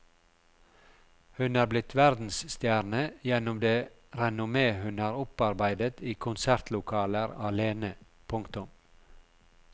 Hun er blitt verdensstjerne gjennom det renommé hun har opparbeidet i konsertlokaler alene. punktum